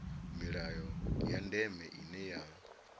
milayo ya ndeme ine ya